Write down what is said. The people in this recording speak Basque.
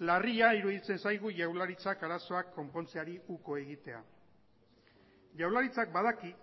larria iruditzen zaigu jaurlaritzak arazoak konpontzeari uko egitea jaurlaritzak badaki